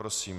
Prosím.